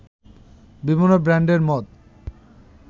বিভিন্ন ব্র্যান্ডের মদ